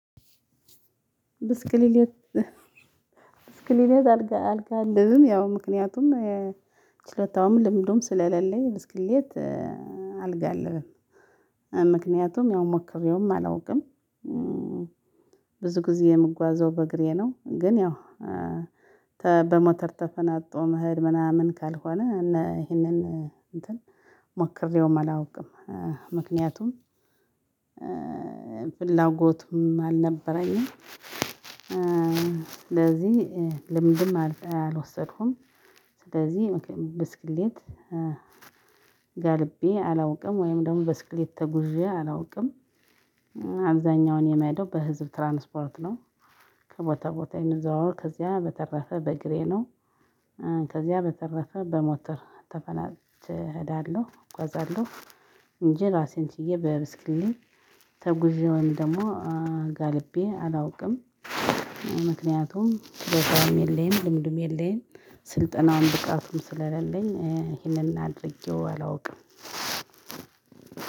ብስክሌት አልጋ አልጋልብም ያው ምክንያቱም ችለታውም ልምዱም ስለሌለኝ ብስክሌት አልጋልብም ምክንያቱም ያው ሞክሬውም አላውቅም። ብዙ ጊዜ የምጓዘው በእግሬ ነው። ግን ያው በሞተር ተፈናጦ መሄድ ምናምን ካልሆነ እና ይሄንን እንትን ሞክሬውም አላውቅም። ምክንያቱም ፍላጎቱም አልነበረኝም። ለዚህ ልምድም አልወሰድኩም። ስለዚህ ብስክሌት ጋልቤ አላውቅም ወይም ደግሞ ብስክሌት ተጉዤ አላውቅም። አብዛኛውን የምሄደው በህዝብ ትራንስፖርት ነው። ከቦታ ቦታ የምዘዋወር ከዚያ በተረፈ በእግሬ ነው። ከዚያ በተረፈ በሞተር ተፈናጥቼ እሄዳለሁ እጓዛለሁ። እንጂ ራሴን ችዬ በብስክሌት ተጉዤ ወይም ደግሞ ጋልቤ አላውቅም። ምክንያቱም ቦታውም የለኝ ልምድም የለኝ ስልጠናውን ብቃቱም ስለሌለኝ ይሄንን አድርጌው አላውቅም።